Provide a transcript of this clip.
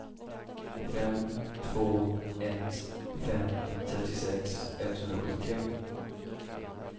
fem två ett fem trettiosex etthundrasjuttiotre